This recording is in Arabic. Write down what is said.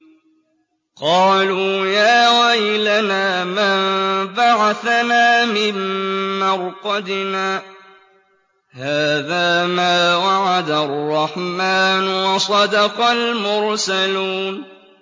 قَالُوا يَا وَيْلَنَا مَن بَعَثَنَا مِن مَّرْقَدِنَا ۜۗ هَٰذَا مَا وَعَدَ الرَّحْمَٰنُ وَصَدَقَ الْمُرْسَلُونَ